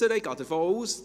Ich gehe davon aus.